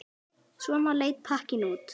Svona leit pakkinn út.